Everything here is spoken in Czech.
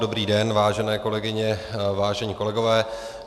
Dobrý den, vážené kolegyně, vážení kolegové.